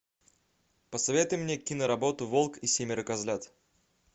посоветуй мне киноработу волк и семеро козлят